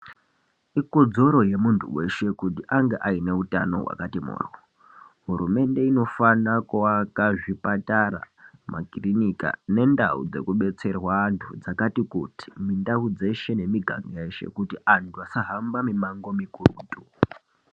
Ikodzero yemuntu weshe kuti ange aine utano hwakati mhoryo. Hurumende inofanira kuaka zvipatara, makirinika nendau dzekubetserwa antu dzakati kuti mundau yeshe nemiganga yeshe kuti antu asahambe mimango mikurutu.